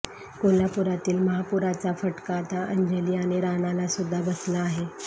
कोल्हापुरातील महापुराचा फटका आता अंजली आणि राणा ला सुद्धा बसला आहे